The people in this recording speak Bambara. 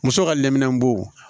Muso ka lɛminɛnbo